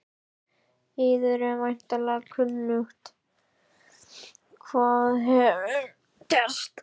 Yður er væntanlega kunnugt hvað hér hefur gerst.